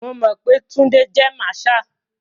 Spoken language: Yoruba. Mo mọ̀ pé Túndé jé marshal.